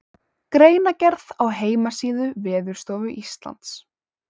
Greinargerð á heimasíðu Veðurstofu Íslands.